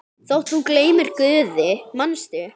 Þótt þú gleymir Guði, manstu?